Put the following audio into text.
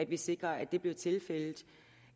vi sikrer at det bliver tilfældet